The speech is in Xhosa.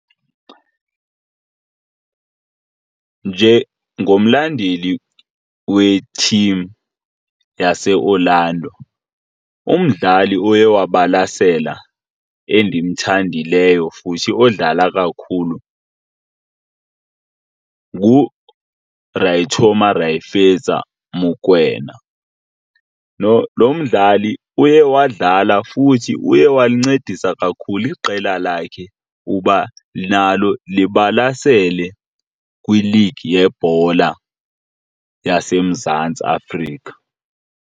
Njengomlandeli we-team yaseOrlando, umdlali oye wabalasela endimthandileyo futhi odlala kakhulu nguRae Thoma Rae Fetsa Mokoena. Lo, lo mdlali uye wadlala futhi uye walincedisa kakhulu iqela lakhe uba nalo libalasele kwiligi yebhola yaseMzantsi Afrika.